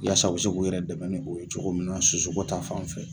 Yaasa u bɛ se k'u yɛrɛ dɛmɛ n'o ye cogo min na sosoko ta fan fɛ